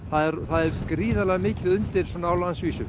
það er mikið undir á landsvísu